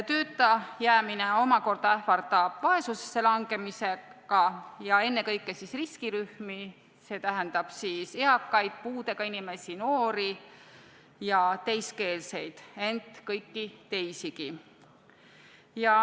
Tööta jäämine omakorda ähvardab vaesusesse langemisega ja ennekõike riskirühmi, st eakaid, puudega inimesi, noori ja teiskeelseid, ent kõiki teisigi.